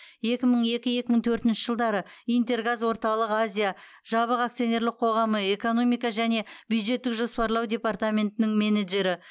екі мың екі екі мың төртінші жылдары интергаз орталық азия жабық акционерлік қоғамы экономика және бюджеттік жоспарлау департаментінің менеджері